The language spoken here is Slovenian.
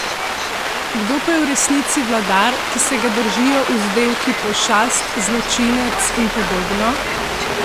Kdo pa je v resnici vladar, ki se ga držijo vzdevki pošast, zločinec in podobno?